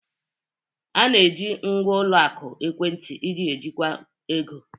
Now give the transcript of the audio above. A na-eji ngwa ụlọ akụ ekwentị iji ejikwa ego.